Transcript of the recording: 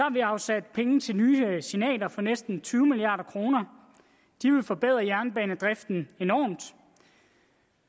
vi afsat penge til nye signaler for næsten tyve milliard kroner de vil forbedre jernbanedriften enormt